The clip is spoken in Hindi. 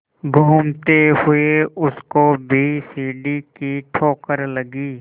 घूमते हुए उसको भी सीढ़ी की ठोकर लगी